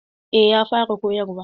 Eh ya fara koyarwa.